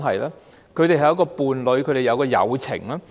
他們是伴侶，有友情。